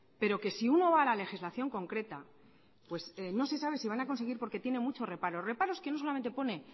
pero que si uno va a la legislación concreta no se sabe si se van a conseguir porque tienen muchos reparos reparos que no solo pone